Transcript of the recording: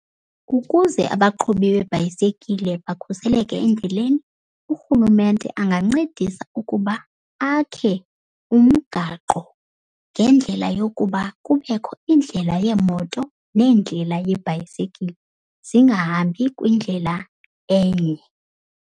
Ukuze abaqhubi beebhayisekile bakhuseleke endleleni, urhulumente angancedisa ukuba akhe umgaqo ngendlela yokuba kubekho indlela yeemoto nendlela yebhayisekile zingahambi kwindlela enye.